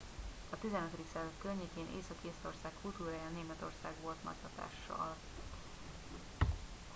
a 15. század környékén észak észtország kultúrájára németország volt nagy hatással